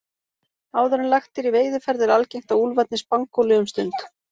Áður en lagt er í veiðiferð er algengt að úlfarnir spangóli um stund.